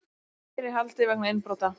Tveir í haldi vegna innbrota